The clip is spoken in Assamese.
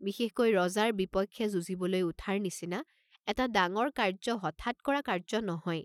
বিশেষকৈ ৰজাৰ বিপক্ষে যুঁজিবলৈ উঠাৰ নিচিনা এটা ডাঙৰ কাৰ্য্য হঠাৎ কৰা কাৰ্য্য নহয়।